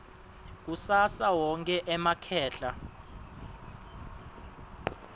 kusasa wonkhe emakhehla